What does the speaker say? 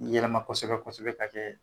Nin yɛlɛma kɔsɛbɛ-kɔsɛbɛ k'a kɛ